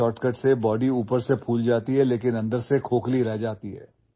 अशा शॉर्टकट्सचा वापर केल्यावर शरीर बाहेरून वाढलेले दिसते मात्र आतून पोकळच राहते